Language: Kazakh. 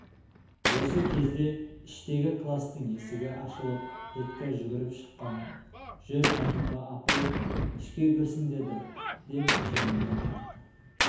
осы кезде іштегі кластың есігі ашылып петька жүгіріп шыққан жүр әнипа апай ішке кірсін деді деп жеңімнен тартты